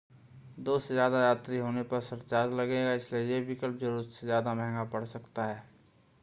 2 से ज़्यादा यात्री होने पर सरचार्ज लगेगा इसलिए यह विकल्प ज़रूरत से ज़्यादा महंगा पड़ सकता है